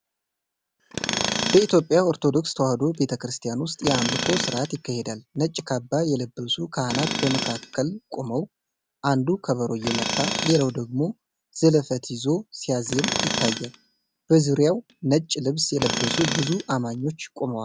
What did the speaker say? በኢትዮጵያ ኦርቶዶክስ ተዋሕዶ ቤተ ክርስቲያን ውስጥ የአምልኮ ሥርዓት ይካሄዳል። ነጭ ካባ የለበሱ ካህናት በመካከል ቆመው አንዱ ከበሮ እየመታ፣ ሌላው ደግሞ ዘለፈት ይዞ ሲያዜም ይታያል። በዙሪያው ነጭ ልብስ የለበሱ ብዙ አማኞች ቆመዋል።